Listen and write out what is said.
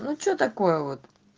ну что такое вот